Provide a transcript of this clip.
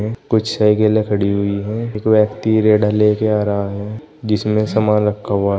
कुछ साइकिलें खड़ी हुई हैं एक व्यक्ति रेड़ा लेके आ रहा है जिसमें सामान रखा हुआ है।